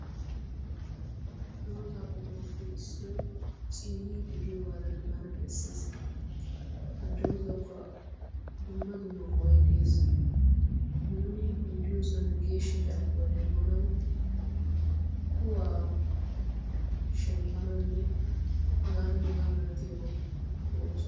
Dooza qommuwappe issoy ciyyid de'iyooga bana bessees. ha doozawukka dumma dumma go'ay des. nuuni nu diyoosan geeshsha carkkuwa demmnaw kuwaa shemppnawunne hega hegaa malatiyaabaw go''oosona.